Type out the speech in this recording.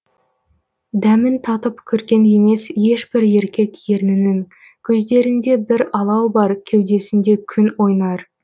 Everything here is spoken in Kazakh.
дәмін татып көрген емес еш бір еркек ернінің көздерінде бір алау бар кеудесінде күн ойнар